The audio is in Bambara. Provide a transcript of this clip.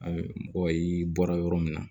mɔgɔ ye bɔra yɔrɔ min na